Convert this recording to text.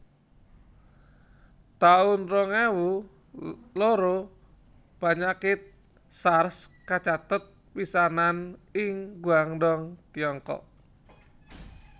taun rong ewu loro Panyakit Sars kacathet pisanan ing Guangdong Tiongkok